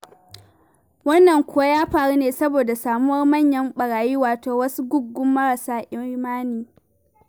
Wannan kuwa ya faru ne saboda samuwar manyan ɓarayi, wato wasu guggun marasa imani.